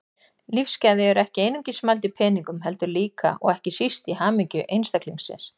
Lífsgæði eru ekki einungis mæld í peningum heldur líka, og ekki síst, í hamingju einstaklingsins.